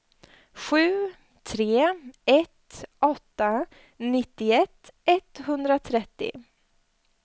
sju tre ett åtta nittioett etthundratrettio